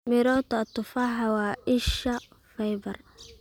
Mirota tufaaxa waa isha fiber.